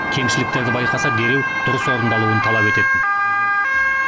кемшіліктерді байқаса дереу дұрыс орындалуын талап ететін